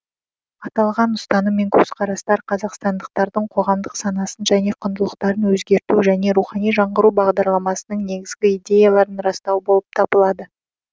аталған ұстаным мен көзқарастар қазақстандықтардың қоғамдық санасын және құндылықтарын өзгерту және рухани жаңғыру бағдарламасының негізгі идеяларын растау болып табылады